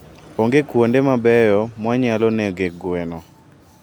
Onge kuonde mabeyo mwanyalo negoe gwen.